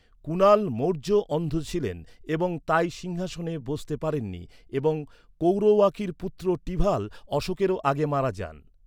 কুণাল মৌর্য অন্ধ ছিলেন এবং তাই সিংহাসনে বসতে পারেননি এবং কৌরওয়াকির পুত্র টিভাল অশোকেরও আগে মারা যান।